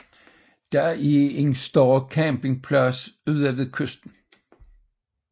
Der er et større campingsplads ud ved kysten